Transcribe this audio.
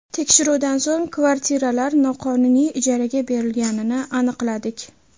Tekshiruvdan so‘ng kvartiralar noqonuniy ijaraga berilganini aniqladik.